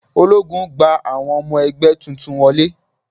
Ológun gba àwọn ọmọ ẹgbẹ́ tuntun wọlé.